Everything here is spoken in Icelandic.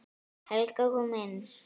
Helga kom inn.